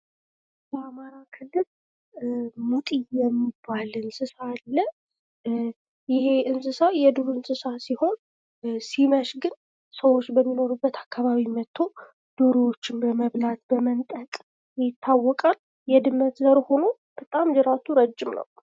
በአማራ ክልል ሙጢ የሚባል እንስሳ አለ። ይሄ እንስሳ የዱር እንስሳ ሲሆን ሲመሽ ግን ሰዎች በሚኖሩበት አካባቢ መጥቶ ዶሮዎችን በመብላት በመንጠቅ ይታወቃል። የድመት ዘር ሆኖ በጣም ጅራቱ ረጅም ነው።